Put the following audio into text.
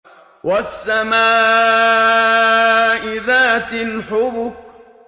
وَالسَّمَاءِ ذَاتِ الْحُبُكِ